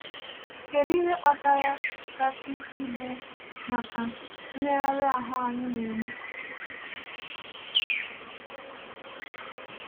Kèdụ ihe kpatara kàsị ibu maka mmegharị ahụ anyị na-eme?